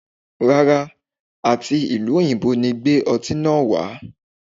Rárá, à ti ìlú òyìnbó ni gbé ọtí náà wà á.